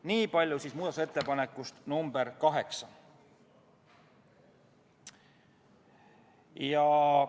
Niipalju muudatusettepanekust nr 8.